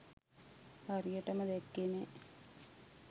හරියටම දැක්කේ නෑ.